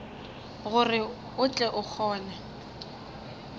gore o tle o kgone